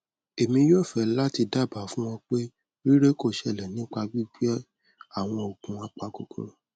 emi yoo fe lati daba fun o pe rire ko sele nipa gbigbe awon oogun apakokoro